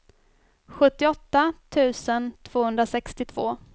sjuttioåtta tusen tvåhundrasextiotvå